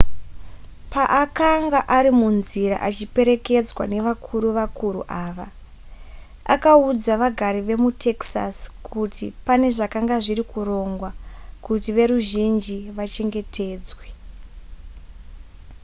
paakanga ari munzira achiperekedzwa nevakuru vakuru ava akaudza vagari vemutexas kuti pane zvakanga zviri kurongwa kuti veruzhinji vachengetedzwe